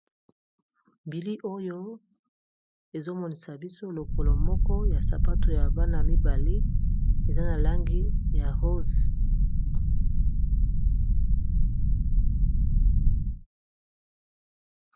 bili oyo ezomonisa biso lokolo moko ya sapato ya bana mibale eza na langi ya rose